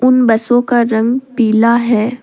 उन बसों का रंग पीला है।